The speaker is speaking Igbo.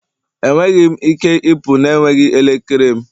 Enweghị m ike ịpụ na-enweghị elekere m